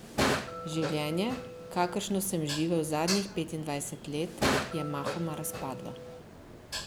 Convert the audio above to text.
Življenje, kakršno sem živel zadnjih petindvajset let, je mahoma razpadlo.